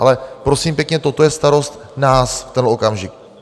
Ale prosím pěkně, toto je starost nás v tenhle okamžik.